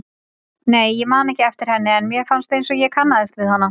Nei, ég man ekki eftir henni en mér fannst einsog ég kannaðist við hana.